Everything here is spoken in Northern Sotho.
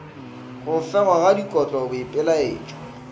go fegwa ga dikotlo boipelaetšo